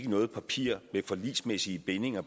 noget papir med forligsmæssige bindinger